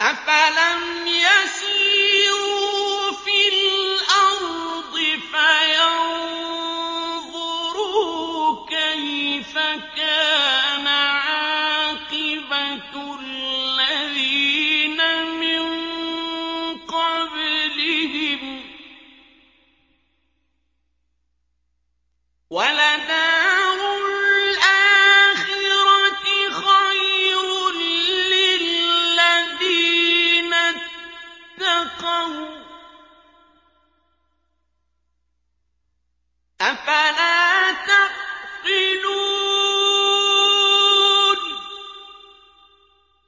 أَفَلَمْ يَسِيرُوا فِي الْأَرْضِ فَيَنظُرُوا كَيْفَ كَانَ عَاقِبَةُ الَّذِينَ مِن قَبْلِهِمْ ۗ وَلَدَارُ الْآخِرَةِ خَيْرٌ لِّلَّذِينَ اتَّقَوْا ۗ أَفَلَا تَعْقِلُونَ